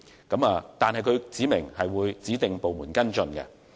不過，政府指明會由指定部門跟進。